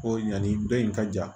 Ko yanni dɔ in ka ja